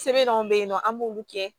Sɛbɛn dɔw bɛ ye nɔ an b'olu kɛ